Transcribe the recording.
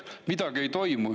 Midagi ei toimu.